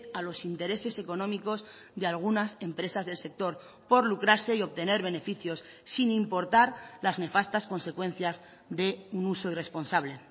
a los intereses económicos de algunas empresas del sector por lucrarse y obtener beneficios sin importar las nefastas consecuencias de un uso irresponsable